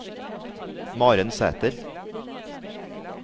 Maren Sæther